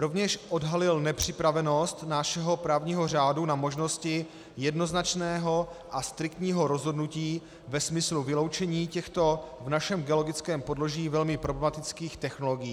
Rovněž odhalily nepřipravenost našeho právního řádu na možnosti jednoznačného a striktního rozhodnutí ve smyslu vyloučení těchto v našem geologickém podloží velmi problematických technologií.